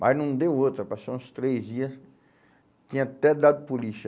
Mas não deu outra, passou uns três dias, tinha até dado polícia.